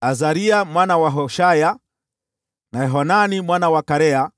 Azaria mwana wa Hoshaya, na Yohanani mwana wa Karea,